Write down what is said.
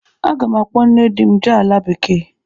Aga m akpọ nne di m jee ala bekee.